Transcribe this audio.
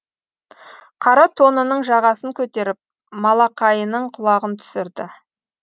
қара тонының жағасын көтеріп малақайының құлағын түсірді